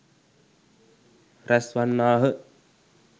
රැස් වන්නාහ.